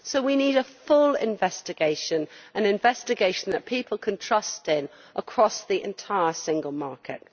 So we need a full investigation, an investigation that people can have trust in, across the entire single market.